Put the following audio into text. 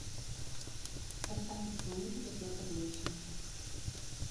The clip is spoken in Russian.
поставь исполнителя петр лещенко